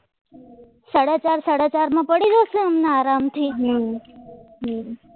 સાડા ચાર સાડા ચારમાં પડી જશે અમને આરામથી આ